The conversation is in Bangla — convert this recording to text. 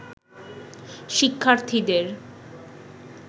শিক্ষার্থীদের